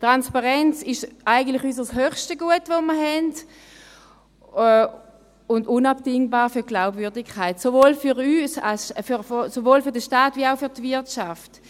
Transparenz ist eigentlich unser höchstes Gut, das wir haben, und sie ist unabdingbar für die Glaubwürdigkeit, sowohl für den Staat wie auch für die Wirtschaft.